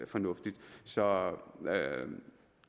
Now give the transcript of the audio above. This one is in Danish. fornuftigt så